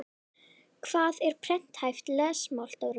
Hvað er prenthæft lesmál Dóri minn?